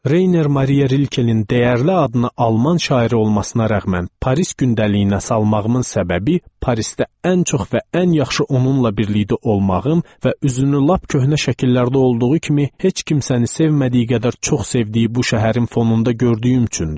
Reyner Mariya Rilkenin dəyərli adını alman şairi olmasına rəğmən Paris gündəliyinə salmağımın səbəbi Parisdə ən çox və ən yaxşı onunla birlikdə olmağım və üzünü lap köhnə şəkillərdə olduğu kimi heç kimsəni sevmədiyi qədər çox sevdiyi bu şəhərin fonunda gördüyüm üçündür.